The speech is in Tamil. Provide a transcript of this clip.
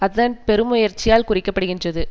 அதன் பெருமுயற்சியால் குறிக்கப்படுகின்றது